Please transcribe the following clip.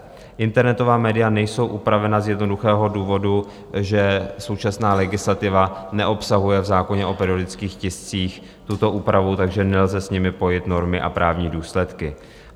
Internetová média nejsou upravena z jednoduchého důvodu, že současná legislativa neobsahuje v zákoně o periodických tiscích tuto úpravu, takže nelze s nimi pojit normy a právní důsledky.